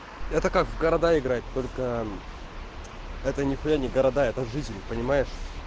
это как в города играть только это нихуя не города это жизнь понимаешь